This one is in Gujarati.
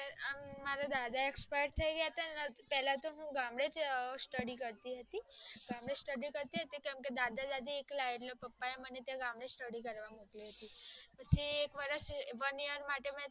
મારા દાદા expire થય ગયા ને પેલા તો હું ગમ્દેજ study કરતી હતી કેમ કે દાદા દાદી એકલા એટલે પપ્પા એ મને ગમ્દેજ study કરાવી